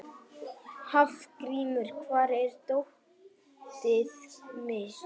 Hafgrímur, hvar er dótið mitt?